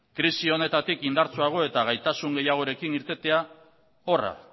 krisi honetatik indartsuago eta gaitasun gehiagorekin irtetea horra